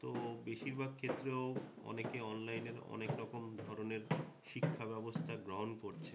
তো বেশির ভাগ ক্ষেত্রেও অনেকে অনলাইনে অনেকরকম ধরণের শিক্ষাব্যবস্থা গ্রহণ করছে।